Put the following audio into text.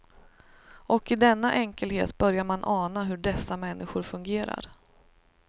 Och i denna enkelhet börjar man ana hur dessa människor fungerar.